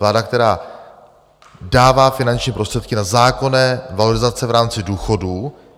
Vláda, která dává finanční prostředky na zákonné valorizace v rámci důchodů.